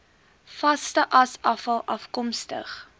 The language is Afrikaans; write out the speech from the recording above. vaste asafval afkomstig